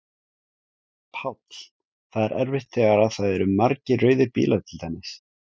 Páll: Það er erfitt þegar að það eru margir rauðir bílar til dæmis?